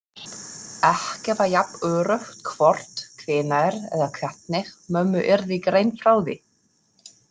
Ekki var jafn öruggt hvort, hvenær eða hvernig mömmu yrði greint frá því.